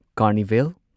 carnival